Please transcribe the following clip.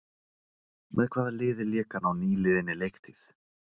Með hvaða liði lék hann á nýliðinni leiktíð?